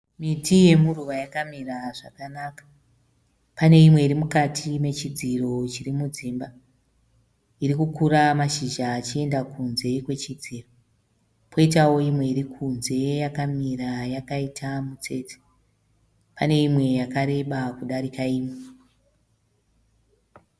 Miti yemuruwa yakamira zvakanaka. Pane imwe irimukati mechidziro chiri mudzimba irikukura mashizha achienda kunze kwechidziro, poitao imwe irikunze yakamira yakaita mutsetse. Pane imwe yakareba kudarika imwe.